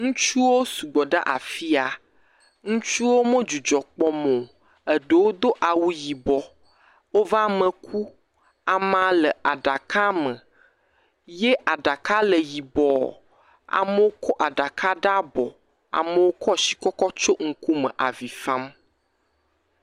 Ŋutsuwo sugbɔ ɖe afi ya. Ŋutsuwo me dzudzɔ kpɔm o. Eɖewo do awu yibɔ. Woƒe ame ku. Amaa le aɖakame. Ye aɖaka le yibɔɔ. Mewo kɔ aɖaka ɖe abɔ. Amewo kɔɔ shi kɔ kɔtsyɔ ŋkume avi fam.